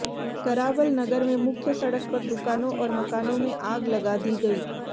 करावल नगर में मुख्य सड़क पर दुकानों और मकानों में आग लगा दी गई